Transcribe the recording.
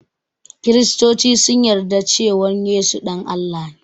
Kristoci sun yarda cewan Yesu ɗan Allah ne